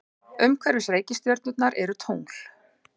Umhverfis reikistjörnurnar eru tungl.